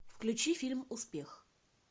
включи фильм успех